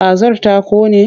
Kazar ta ƙone?